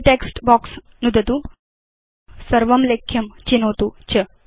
body text box नुदतु सर्वं लेख्यं चिनोतु च